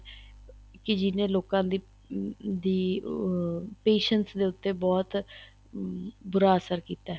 ਕੀ ਜਿਹਨੇ ਲੋਕਾਂ ਦੀ ਅਹ patience ਦੇ ਉੱਤੇ ਬਹੁਤ ਬੂਰਾ ਅਸਰ ਕੀਤਾ ਏ